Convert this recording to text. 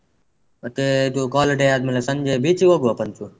ಮತ್ತೇ ಇದು college day ಆದ್ಮೇಲೆ ಸಂಜೆ beach ಗೆ ಹೋಗ್ವ ಪಂಚು.